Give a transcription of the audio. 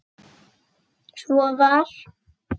Svo var.